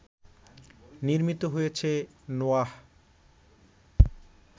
নির্মিত হয়েছে নোয়াহ